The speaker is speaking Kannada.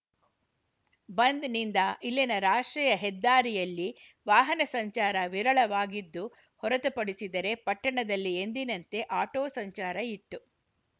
ಬಂದ್‌ನಿಂದ ಇಲ್ಲಿನ ರಾಷ್ಟ್ರೀಯ ಹೆದ್ದಾರಿಯಲ್ಲಿ ವಾಹನ ಸಂಚಾರ ವಿರಳವಾಗಿದ್ದು ಹೊರತು ಪಡಿಸಿದರೆ ಪಟ್ಟಣದಲ್ಲಿ ಎಂದಿನಂತೆ ಆಟೋ ಸಂಚಾರ ಇತ್ತು